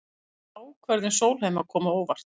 Ákvörðun Sólheima kom á óvart